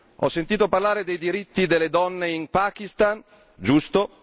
Ho sentito parlare dei diritti delle donne in Pakistan, giusto